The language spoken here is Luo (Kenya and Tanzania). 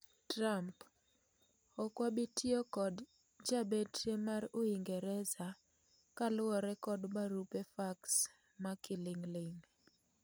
Trump: Okwabitiyo kod jabetre mar Uingereza kaluore kod barupe fax makiling'ling'